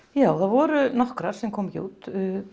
já það voru nokkrar sem komu ekki út